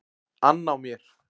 ann á mér.